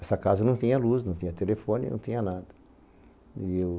Essa casa não tinha luz, não tinha telefone, não tinha nada. E eu